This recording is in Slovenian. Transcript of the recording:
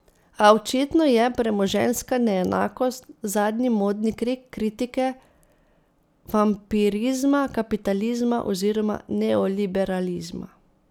A očitno je premoženjska neenakost zadnji modni krik kritike vampirizma kapitalizma oziroma neoliberalizma.